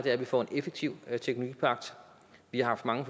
er at vi får en effektiv teknologipagt vi har haft mange